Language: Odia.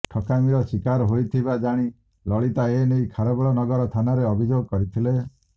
ଠକାମିର ଶିକାର ହୋଇଥିବା ଜାଣି ଲଳିତା ଏନେଇ ଖାରବେଳନଗର ଥାନାରେ ଅଭିଯୋଗ କରିଥିଲେ